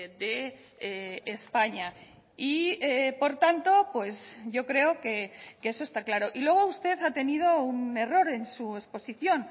de españa y por tanto yo creo que eso está claro y luego usted ha tenido un error en su exposición